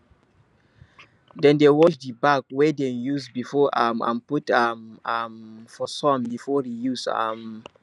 dem dey wash the bag wey dem use before um and put um am for sun before reuse um